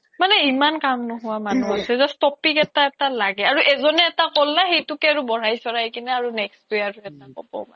মানে ইমান কাম নোহোৱা মানুহ আছে এটা এটা topic লাগে আৰু এজনে এটা কল্লা সেইটোকে বঢ়াই চৰহাই কিনে next তুই আৰু এটা কব